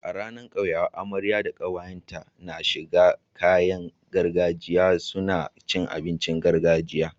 Ranar kyauyawa amarya da kawayen ta na shigar kayan gargajiya suna cin abincin gargajiya